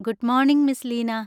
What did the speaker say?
Good morning, miss Leena!